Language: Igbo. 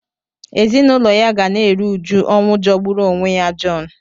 Ezinụlọ ya ka na-eru uju ọnwụ jọgburu onwe ya John